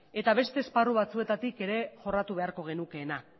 eta beste esparru batzuetatik ere jorratu beharko genukeena